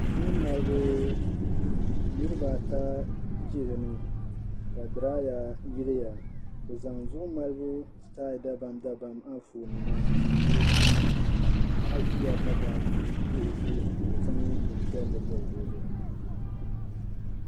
Zuɣu malibu duu niriba ata ʒi dini ka diraaya yiliya bɛ zaŋ zuɣu mali sitayi dabamdabam anfooninima n yili duu maa ni paɣa ʒiya ka baaji be o tooni ka o zaŋ binpiɛlli bɔbi o zuɣu.